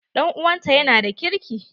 Ɗan'uwanta ta yana da ƙirki.